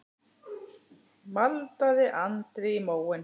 maldaði Andri í móinn.